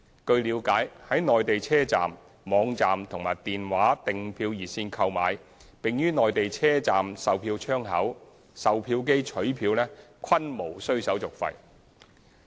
據了解，在內地車站、網站和電話訂票熱線購票並於內地車站售票窗口、售票機取票均無須手續費。